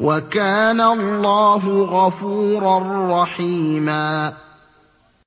وَكَانَ اللَّهُ غَفُورًا رَّحِيمًا